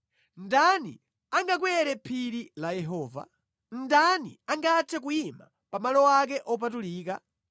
Ndani angakwere phiri la Yehova? Ndani angathe kuyima pa malo ake opatulika?